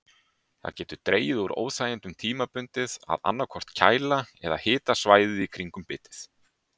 Það getur dregið úr óþægindunum tímabundið að annaðhvort kæla eða hita svæðið í kringum bitið.